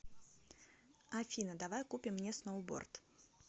афина давай купим мне сноуборд